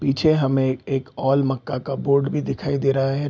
पीछे हमें एक ओल मक्का का बोर्ड भी दिखाई दे रहा है।